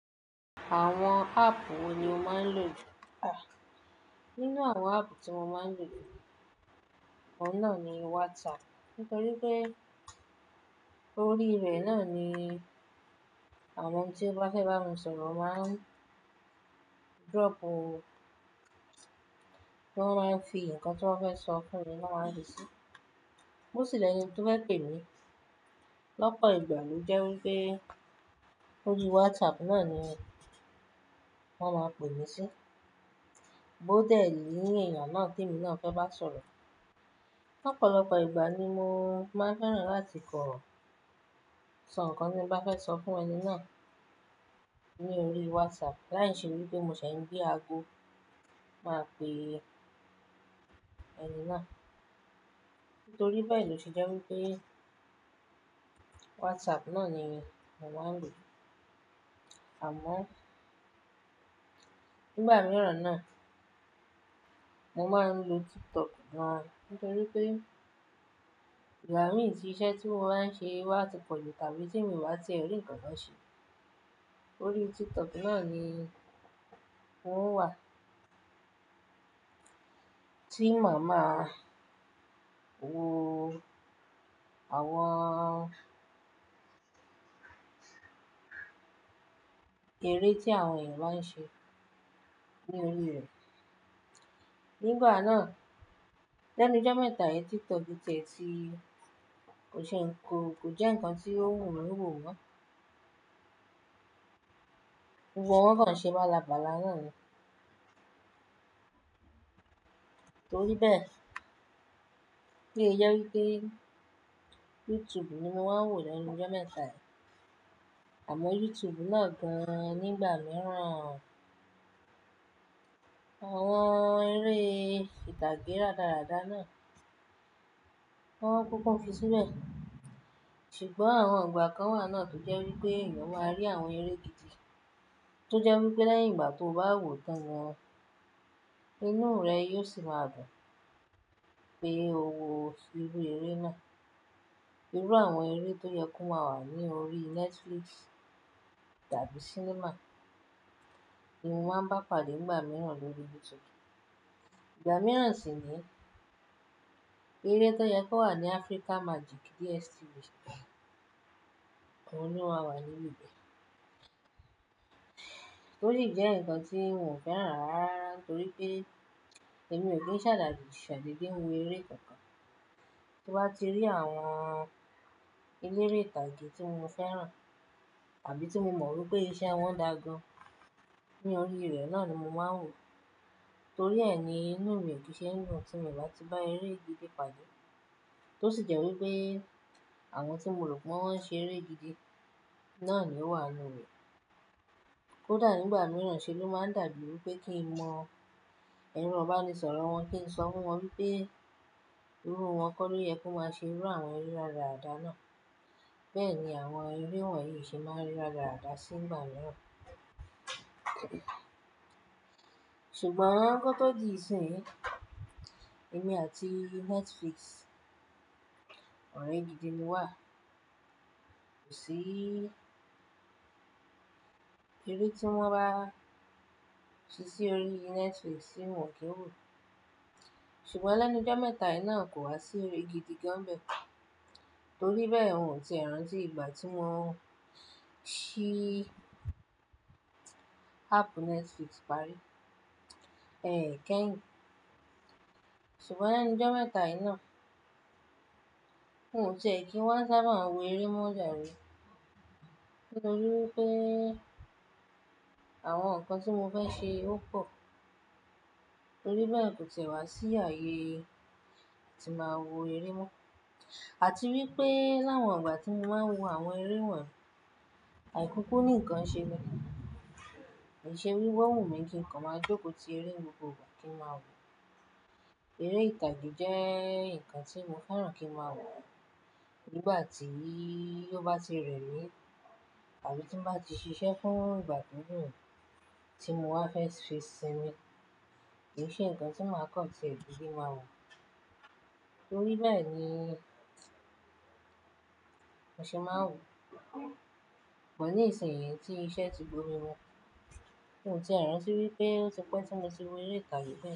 Àwọn app wo ni o máa ń lò? Nínú àwọn app tí mo máa ń lò, òun náà ni WhatsApp, nítorí pé orí rẹ̀ náà ni àwọn tí o bá fẹ́ bá mi sọ̀rọ̀ máa ń drop, wọ́n máa ń fi ǹkan tí wọ́n fẹ́ sọ fún mi, wọ́n máa ń fí sí. Bó sìlẹ̀ ni kí ó fẹ́ pè mí lọ́pọ̀ ìgbà ni ó jẹ́ wí pé orí WhatsApp náà ni wọ́n máa ń pè mí sí. Bó dẹ̀ ní èèyàn náà tí ènì náà fẹ́ bá sọ̀rọ̀, lọ́pọ̀lọpọ̀ ìgbà ni mo máa n fẹ́ràn láti kọ ṣọ̀ǹkan tí ń bá fẹ́ sọ fún ẹni náà ní orí WhatsApp láì ṣe wí pé mo ṣẹ̀ n gbe àbo máa pè ẹni náà. Nítorí bẹ́ẹ̀ ni ó ṣe jẹ́ wí pé WhatsApp náà ni mo máa ń lò. Àmọ́ nígbà mìíràn náà mo máa ń lo TikTok gán nítorí pé ingba mi ti iṣẹ́ tí mo máa ń ṣe wá ti pọ̀jù tàbí tí mi o wá ti e rí ǹkan náà ṣe, orí TikTok náà ni n wo wà. Tí màmá wo àwọn eré tí àwọn ènìyàn bá ń ṣe ní orí rẹ̀. Nígbà náà lẹ́nu jomẹ́ta yi TikTok ti e ti kò ṣe nǹkan, kò jẹ́ nǹkan tí ó wù mí wò mọ́. Wọ́n kàn ṣe bálabala náà ni. Nítorí bẹ́ẹ̀ ni ó jẹ wí pé YouTube ni mo máa ń wò lẹ́nu jomẹ́ta. Àmọ́ YouTube náà gan nígbà mìíràn àwọn eré ìtàgé rádaràda náà wọ́n kúkú ń fi sínú e. Ṣùgbọ́n àwọn ìgbà kan wà náà tó jẹ́ wí pé ènìyàn máa rí àwọn eré gidi, tó jẹ́ wí pé lẹ́yìn ìgbà tí o bá wò tán gan, inú rẹ yóò sì máa dùn pé o wo irú eré náà. Irú àwọn eré tó yẹ kó máa wà ní orí Netflix tàbí cinema ni mo máa ń bá pàdé nígbà mìíràn lórí YouTube. Ìgbà mìíràn sì ni pé eré tó yẹ kó wà ní Africa Magic DSTV, oun ní o máa wà nínú ibẹ̀. Torí ìdí ẹ nǹkan tí mò ń fẹ́ràn rárá torí pé èmi ò kí ń ṣàdà ṣàdede wo eré kankan. Bí mo bá ti rí àwọn eléré ìtàgé tí mo fẹ́ràn tàbí tí mo mọ̀ pé iṣẹ́ wọn dà gan ní orí rẹ̀ náà ni mo máa ń wò. Torí ẹ ni inú mi ò kí ń ṣe dùn tí mi o bá ti bá eré gidi pàdé. Tó sì jẹ́ wí pé àwọn tí mo rò pé wọ́n ṣe eré gidi náà ni ó wà nínú rẹ̀. KÓ dà nígbà mìíràn ṣe ló máa ń dàbí pé kí n mọ ẹ̀rọ ìbání sọ̀rọ̀ wọn kí n sọ fún wọn wípé irú wọn kọ́ ló yẹ kó máa ṣe irú àwọn eré rádaràda náà. Bẹ́ẹ̀ ni àwọn eré wọ̀nyí ṣe máa ń rí rádaràda sí ìgbà mìíràn. Ṣùgbọ́n àwọn nǹkan tó di ìsìn yìí, èmi àti Netflix ọ̀rẹ́ gidi ni wà. Kò sí eré tí wọ́n bá ṣe sí orí Netflix tí mò kí ń wò. Ṣùgbọ́n lẹ́nu jomẹ́ta yìí náà kò wá sí eré gidi gan bẹ́ẹ̀ torí bẹ́ẹ̀, n ò ti rántí ìgbà tí mo ṣí app Netflix parí. Ẹ̀kẹyin. Ṣùgbọ́n lẹ́nu jomẹ́ta yìí náà n ò tiẹ̀ kí wa sábà wo eré mọ́ jare nítorí pé àwọn nǹkan tí mo fẹ́ ṣe ó pọ̀. Torí bẹ́ẹ̀ kò ti ẹ́ wá sí ààyè tí màá wo eré mọ́. Àti wípé láwọn ìgbà tí mo máa ń wo àwọn eré wọ̀nyí, àìkúkú ni ǹkan ṣe mi. Kì ṣe wípé wùmí kí ǹkan máa jókòó ti eré gbogbo ìgbà kí n máa wò. Eré ìtàgé jẹ́ nǹkan tí mo fẹ́ràn kí n máa wò nígbà tí ó bá ti rẹ̀ mí tàbí tí mo bá ti ṣiṣẹ́ fún ìgbà tó gùn, tí mo bá fẹ́ fi ṣinmi kì í ṣe nǹkan tí màá kàn tiẹ̀ dede máa wò. Torí bẹ́ẹ̀ ni mò ṣe máa ń wò. Bò ní ìsẹ̀yín tí iṣẹ́ ti gbó mi mú, n ò tiẹ̀ rántí wípé ó ti pẹ́ tí mo ṣe wo eré ìtàgé be.